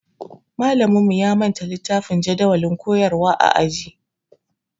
Malaminmu ya manta littafin jadawalin koyarwa a aji